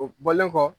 O bɔlen kɔ